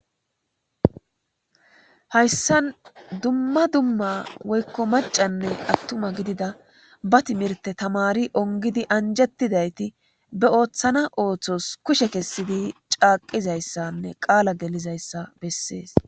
hayssan dumma dumma woykko macanne attuma gidida ba timirte tamari ongidi anjettidayti be ooththana ooththos kushe kessidi caaqizayssanne qaala gelizayssa bessees